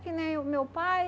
Que nem o o meu pai.